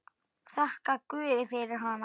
Þakkar guði fyrir hana.